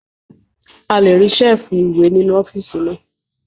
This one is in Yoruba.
A lè rí Ṣẹ́ẹ̀fù ìwé nínú ọ́fíìsì náà